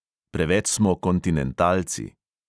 Preveč smo kontinentalci.